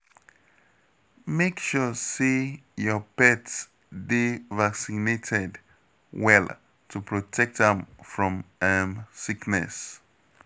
Make sure say your pet dey vaccinated well to protect am from um sickness.